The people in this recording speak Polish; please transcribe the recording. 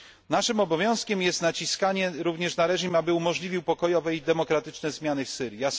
Naszym obowiązkiem jest naciskanie również na reżim, aby umożliwił pokojowe i demokratyczne zmiany w Syrii.